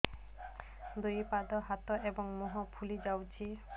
ଦୁଇ ପାଦ ହାତ ଏବଂ ମୁହଁ ଫୁଲି ଯାଉଛି